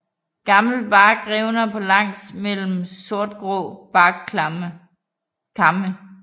Gammel bark revner på langs mellem sortgrå barkkamme